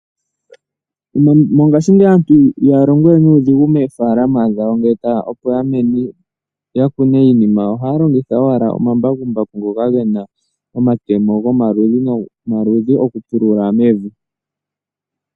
Mongashingeyi aantu ihaya longowe nuudhigu moofalama dhawo, opo ya kune iimeno yawo. Ohaya longitha ashike omambakumbaku ngoka gena omatemo gomaludhi nomaludhi okupulula mevi.